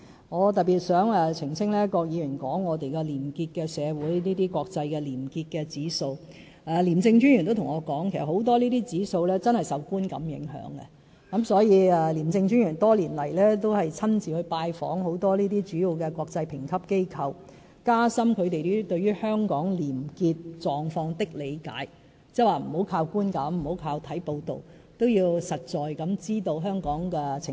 我想特別澄清郭議員提到的廉潔社會及國際廉潔指數，廉政專員亦曾告訴我，這些指數很多確實也是受觀感影響的，所以廉政專員多年間也親自拜訪很多主要國際評級機構，加深它們對香港廉潔狀況的理解，不要只依靠觀感和看報道，也要實際知道香港的情況。